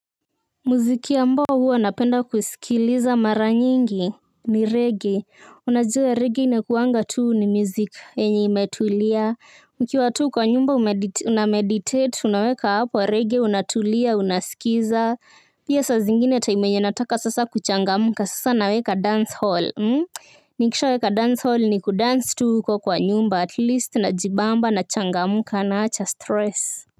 Muziki ambao huwa napenda kusikiliza mara nyingi ni reggae. Unajue reggae inakuanga tuu ni music enye imetulia ukiwa tu kwa nyumba unameditate unaweka hapo reggae unatulia unasikiza. Pia saa zingine time yenye nataka sasa kuchangamka sasa naweka dance hall. Nikishaweka dance hall ni kudance tu ko kwa nyumba atleast najibamba na changamka na acha stress.